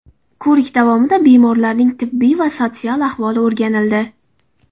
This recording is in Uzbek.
Ko‘rik davomida bemorlarning tibbiy va sotsial ahvoli o‘rganildi.